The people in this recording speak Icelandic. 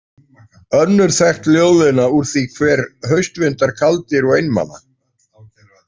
Önnur þekkt ljóðlína úr því er „haustvindar kaldir og einmana“.